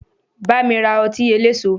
Bámi ra ọtí eléso!